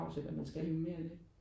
Ja det er jo mere det